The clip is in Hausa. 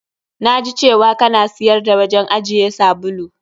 Na ji cewa ka na siyar da wajen ajiye sabulu.